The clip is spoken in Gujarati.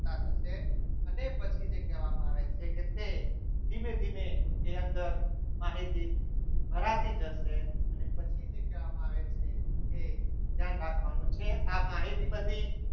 અને પછી જે કહેવામાં આવે છે કે તે ધીમે ધીમે ની અંદર માહિતી ભરાતી જશે અને પછી જે કહેવામાં આવે છે એ ધ્યાન રાખવાનું છે આ માહિતી બધી